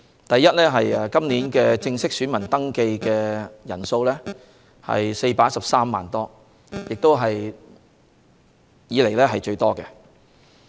第一，今年正式登記選民人數達413多萬，是歷來最多。